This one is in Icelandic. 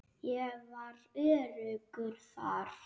Ég var öruggur þar.